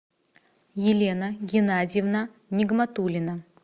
елена геннадьевна нигматулина